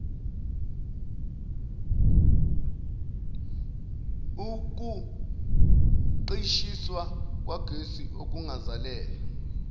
ukuqishiswa kwagesi kungazelelwe